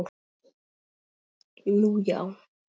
Nú, já!